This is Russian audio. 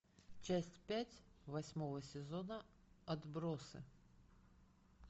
часть пять восьмого сезона отбросы